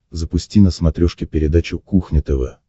запусти на смотрешке передачу кухня тв